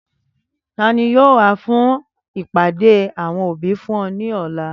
Tani yoo wa fun ipade awọn obi fun ọ ni ọla?